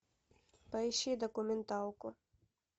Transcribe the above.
поищи документалку